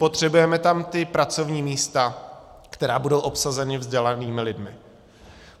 Potřebujeme tam ta pracovní místa, která budou obsazena vzdělanými lidmi.